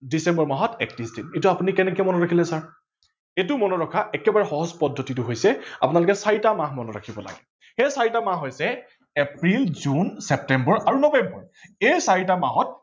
ডিচেম্বৰ মাহত একত্ৰিশ দিন। এইটো আপোনি কেনেকে মনত ৰাখিলে ছাৰ ।এইটো মনত ৰাখাৰ একেবাৰে সহজ পদ্ধতিটো হৈছে আপোনালোকে চাৰিটা মাহ মনত ৰাখিব লাগে। সেই চাৰিটা মাহ হৈছে এপ্ৰিল, জুন, ছেপ্তেম্বৰ আৰু নৱেম্বৰ এই চাৰিটা মাহত